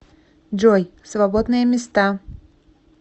джой свободные места